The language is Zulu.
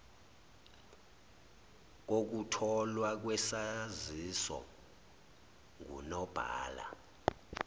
kokutholwa kwesaziso ngunobhala